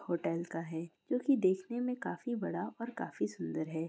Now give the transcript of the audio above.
Hotel का है जो कि देखने में काफी बड़ा और काफी सुंदर है।